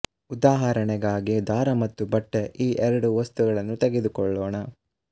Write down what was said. ಉದಾಹರಣೆಗಾಗಿ ದಾರ ಮತ್ತು ಬಟ್ಟೆ ಈ ಎರಡು ವಸ್ತುಗಳನ್ನು ತೆಗೆದುಕೊಳ್ಳೋಣ